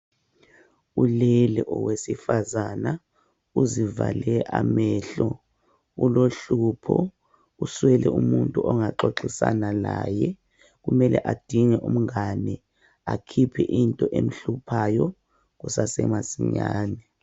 Ulele owesifazana uzivale amehlo. Ulohlupho, uswele umuntu ongaxoxisana laye. Kumele adinge umngane, akhiphe into emhluphayo kusesemasinyane.